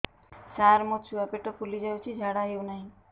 ସାର ମୋ ଛୁଆ ପେଟ ଫୁଲି ଯାଉଛି ଝାଡ଼ା ହେଉନାହିଁ